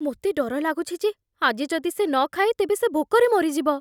ମୋତେ ଡର ଲାଗୁଛି ଯେ ଆଜି ଯଦି ସେ ନ ଖାଏ ତେବେ ସେ ଭୋକରେ ମରିଯିବ।